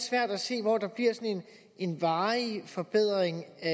svært at se hvor der bliver sådan en varig forbedring af